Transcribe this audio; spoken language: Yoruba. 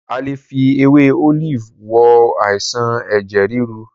A lè fi ewé Olive wo àìsàn ẹ̀jẹ̀ ríru.